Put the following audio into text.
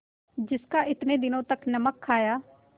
जिसका इतने दिनों तक नमक खाया